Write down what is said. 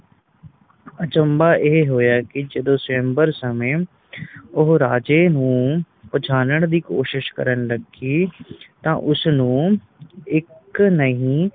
ਅਚੰਭਾ ਇਹ ਹੋਇਆ ਕੇ ਜਦੋ ਸ੍ਵਯੰਬਰ ਸਮੇ ਉਹ ਰਾਜੇ ਨੂੰ ਪਹਿਚਾਨਣ ਦੀ ਕੋਸ਼ਿਸ਼ ਕਰਨ ਲੱਗੀ ਤਾ ਉਸ ਨੂੰ ਇਕ ਨਹੀਂ